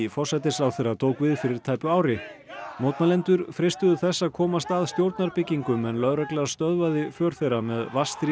forsætisráðherra tók við fyrir tæpu ári mótmælendur freistuðu þess að komast að stjórnarbyggingum en lögregla stöðvaði för þeirra með